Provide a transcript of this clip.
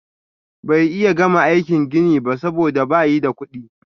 Bay iya gama aikin gini ba soboda bayi da kudi.